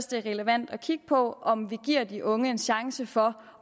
det er relevant at kigge på om vi giver de unge en chance for